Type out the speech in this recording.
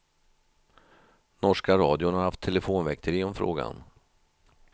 Norska radion har haft telefonväkteri om frågan.